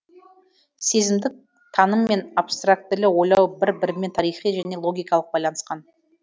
сезімдік таным мен абстрактілі ойлау бір бірімен тарихи және логикалық байланысқан